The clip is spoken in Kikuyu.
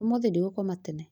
ũmũthĩ ndigũkoma tene